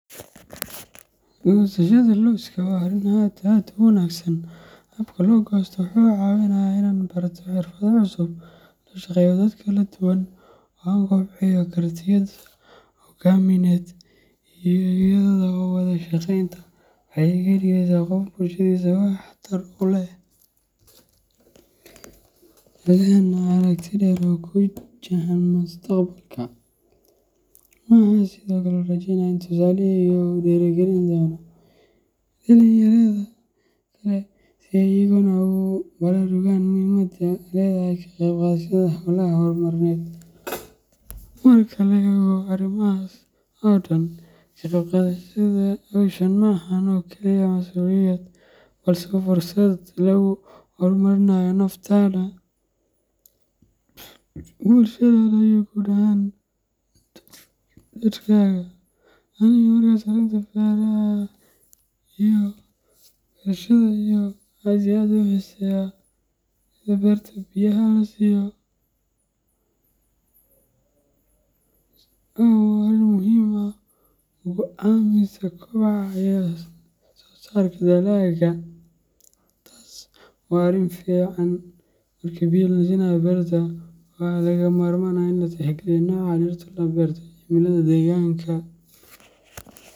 Gosashada lawska waa arin aad aad u wangsan, habka lo gsto wuxuu iga caawinayaa inaan barto xirfado cusub, la shaqeeyo dad kala duwan, oo aan kobciyo kartidayda hoggaamineed iyo wada shaqeynta. Waxay iga dhigeysaa qof bulshadiisa wax tar u leh, lehna aragti dheer oo ku wajahan mustaqbalka. Waxaan sidoo kale rajeynayaa in tusaalahayga uu dhiirigelin doono dhalinyarada kale si ay iyaguna ugu baraarugaan muhiimada ay leedahay ka qayb qaadashada hawlaha horumarineed. Marka la eego arrimahaas oo dhan, ka qayb qaadashada hawshan ma ahan oo kaliya masuuliyad, balse waa fursad lagu horumarinayo naftaada, bulshadaada, iyo guud ahaan dalkaaga. Aniga markas arinta beraha iyo wax berashada aad iyo aad ayan u xiseya. Sidaa berta biyaha loo siiyo waa arrin muhiim ah oo go’aamisa kobaca iyo wax soosaarka dalagga. Marka biyo la siinayo berta, waxaa lagama maarmaan ah in la tixgeliyo nooca dhirta la beertay, cimilada deegaanka.